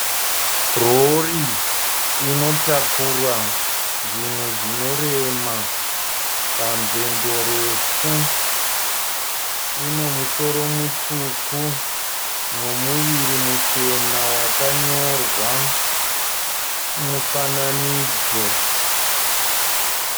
Rori inotakura zvinhu zvinorema panzendo refu. Ine musoro mutsvuku nemuviri muchena wakanyorwa mufananidzo.